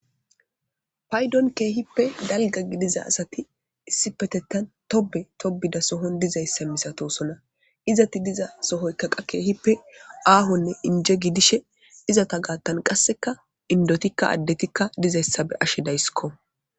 paydon keehippe dalga gidiza asati issi petettan tobe tobida sohon dizayssa misatosona izati diza sohoykkaqa keehippe aahonne inje gidishe izata gaattan qasseka indotikka addetikka dizayssa be ashe daysikko